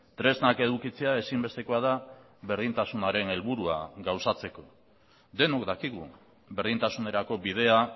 tresnak edukitzea ezinbestekoa da berdintasunaren helburua gauzatzeko denok dakigu berdintasunerako bidea